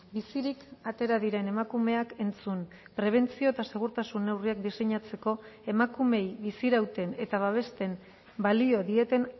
bizirik atera diren emakumeak entzun prebentzio eta segurtasun neurriak diseinatzeko emakumeei bizirauten eta babesten balio dieten